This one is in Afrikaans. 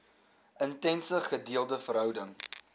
intense gedeelde verhouding